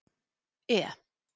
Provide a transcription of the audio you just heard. E